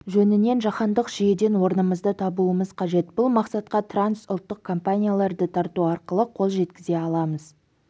жөнінен жаһандық жүйеден орнымызды табуымыз қажет бұл мақсатқа трансұлттық компанияларды тарту арқылы қол жеткізе аламыз